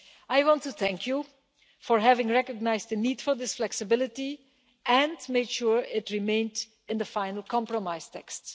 I want to thank you for having recognised the need for this flexibility and made sure it remained in the final compromise text.